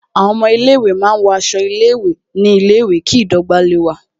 Àwọn ọmọ ilé ìwé máa ń wọ aṣọ ilé ìwé ní ilé ìwé, kí ìdọ́gba